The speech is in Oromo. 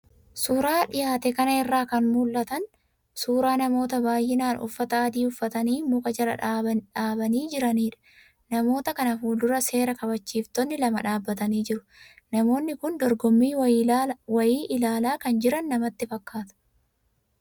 Suuraa dhiyaate kana irraa kan mul'atan, suuraa namoota baay'inaan uffata adii uffatanii muka jala dhaabanii jiiranidha. Namoota kana fuul-dura seera kabachiiftonni lama dhaabatanii jiru. Namoonni kun dorgommii wayii ilaalaa kan jiran namatti fakkaata.